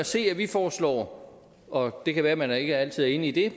se at vi foreslår og det kan være at man ikke altid er enig i det